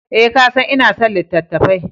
Eh, ka san ina son littattafai.